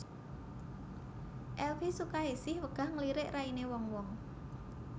Elvi Sukaesih wegah ngelirik raine wong wong